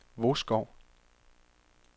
Vodskov